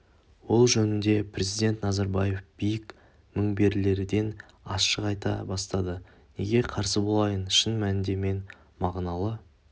ол жөнінде президент назарбаев биік мінберлерден ашық айта бастады неге қарсы болайын шын мәнінде мен мағыналы